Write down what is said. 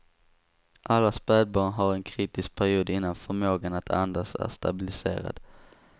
Alla spädbarn har en kritisk period innan förmågan att andas är stabiliserad.